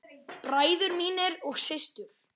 Bræður mínir og systur.